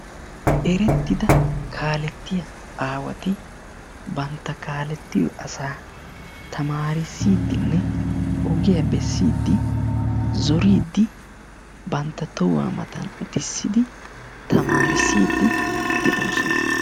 Erettida kaaletiyaa aawati bantta kaaletiyo asaa tamarissidinne ogiya bessidi zoridi bantta tohuwa matan uttissidi tamarissidi de'oosona.